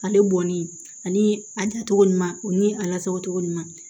Ale bɔnni ani a dan cogo ɲuman o ni a lasagocogo ɲuman